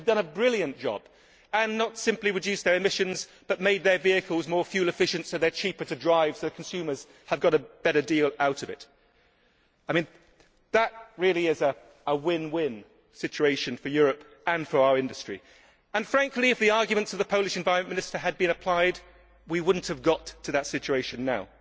They have done a brilliant job and not simply reduced their emissions but made their vehicles more fuel efficient so that they are cheaper to drive, with consumers thereby getting a better deal. That really is a win win situation for Europe and for our industry. Frankly, if the arguments of the Polish Environment Minister had been applied, we would not have got to that situation now.